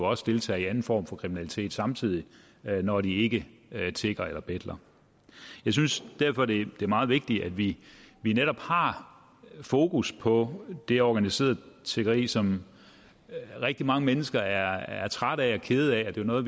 også deltager i anden form for kriminalitet samtidig når de ikke tigger eller betler jeg synes derfor det er meget vigtigt at vi vi netop har fokus på det organiserede tiggeri som rigtig mange mennesker er trætte af og kede af og det er noget